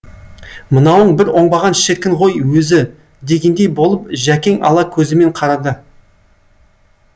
мынауың бір оңбаған шіркін ғой өзі дегендей болып жәкең ала көзімен қарады